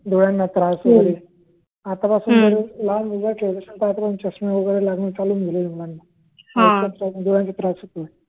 डोळ्यांना त्रास होतो डोळ्यांना त्रास वैगरे आत्तापासून‌ लहान मुलांना चष्मे वगैरे लागणे चालून गेले मुलांना डोळ्यांना त्रास होतय